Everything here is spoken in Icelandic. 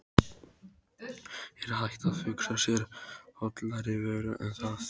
Er hægt að hugsa sér hollari vöru en það?